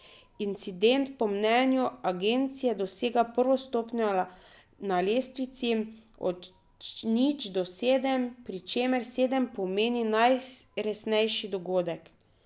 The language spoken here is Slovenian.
Incident po mnenju agencije dosega prvo stopnjo na lestvici od nič do sedem, pri čemer sedem pomeni najresnejši dogodek.